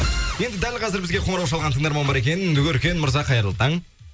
енді дәл қазір бізге қоңырау шалған тыңдарман бар екен өркен мырза қайырлы таң